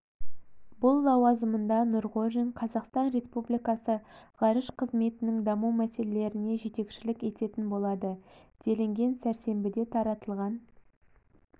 бұл лауазымында нұрғожин қазақстан республикасы ғарыш қызметінің даму мәселелеріне жетекшілік ететін болады делінген сәрсенбіде таратылған